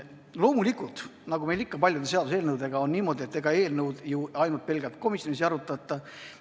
Loomulikult, nagu meil ikka paljude seaduseelnõudega on, ega eelnõu ju ainult pelgalt komisjonis ei arutata.